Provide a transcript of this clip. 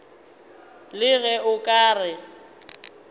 le ge o ka re